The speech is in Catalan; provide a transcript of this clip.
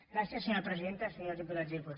gràcies senyora presidenta senyors diputats i diputades